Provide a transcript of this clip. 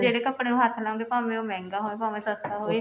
ਜਿਹੜੇ ਕੱਪੜੇ ਨੂੰ ਹੱਥ ਲਾਉਣਗੇ ਭਾਵੇਂ ਉਹ ਮਹਿੰਗਾ ਹੋਵੇ ਭਾਵੇਂ ਸਸਤਾ ਹੋਵੇ